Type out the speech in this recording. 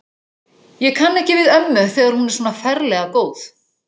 Ég kann ekki við ömmu, þegar hún er svona ferlega góð.